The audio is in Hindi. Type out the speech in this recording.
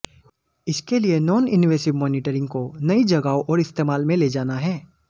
इसके लिए नॉन इनवेसिव मोनिटरिंग को नई जगहों और इस्तेमाल में ले जाना है